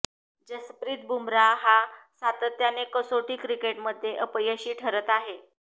जसप्रीत बुमरा हा सातत्याने कसोटी क्रिकेटमध्ये अपयशी ठरत आहे